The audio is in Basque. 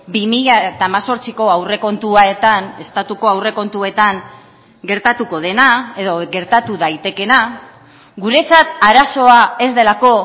bi mila hemezortziko aurrekontuetan estatuko aurrekontuetan gertatuko dena edo gertatu daitekeena guretzat arazoa ez delako